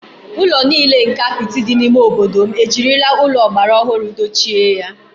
Ụlọ nile nke apịtị dị n’ime obodo m ejirila ụlọ ọgbara ọhụrụ dochie ya